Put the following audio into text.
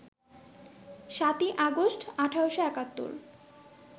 ৭ই আগস্ট, ১৮৭১